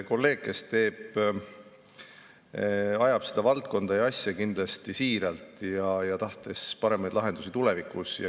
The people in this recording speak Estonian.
Kolleeg ajab seda asja kindlasti siiralt ja tahtes tulevikuks paremaid lahendusi.